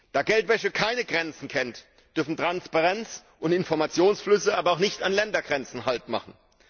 Da Geldwäsche keine Grenzen kennt, dürfen Transparenz und Informationsflüsse aber auch nicht an Ländergrenzen haltmachen.